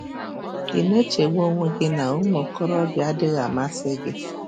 Ị̀ na-echegbu onwe gị na ụmụ okorobịa adịghị amasị gị?